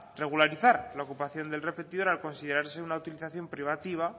regularizar la ocupación del repetidor al considerarse una utilización privativa